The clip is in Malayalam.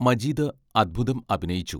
മജീദ് അത്ഭുതം അഭിനയിച്ചു.